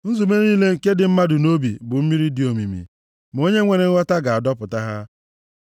Nzube niile nke dị mmadụ nʼobi bụ mmiri dị omimi, ma onye nwere nghọta na-adọpụta ha.